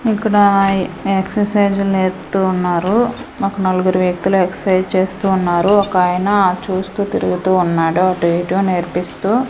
ఇక్కడ ఎక్సర్సైజ్ లు నేర్పుతూ ఉన్నారు మాకు నలుగురు వ్యక్తులు ఎక్సర్సైజ్ చేస్తూ ఉన్నారు ఒకాయన చూస్తూ తిరుగుతూ ఉన్నాడు అటు ఇటు నేర్పిస్తూ.